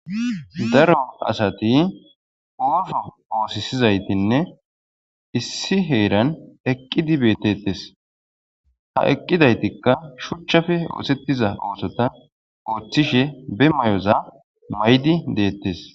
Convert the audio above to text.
Daro asati oso osozaytine issi heran eqidi betetes ha eqwidaytika shuchappe osetiza osa be mayoza mayidi detes